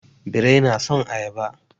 Birrai na son ayaba.